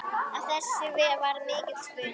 Af þessu varð mikill spuni.